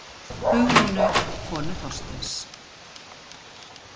Hugrúnu, konu Þorsteins.